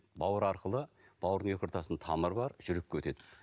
бауыр арқылы бауырдың екі ортасының тамыры бар жүрекке өтеді